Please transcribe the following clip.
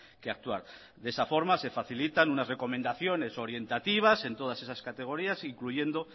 que actuar de esa forma se facilitan unas recomendaciones orientativas en todas esas categorías incluyendo